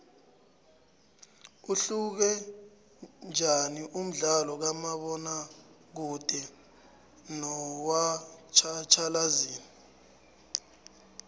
uhluke njaniumdlalokamabona kude nowatjhatjhalazi